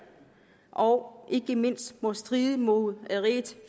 og ikke mindst må stride mod rigets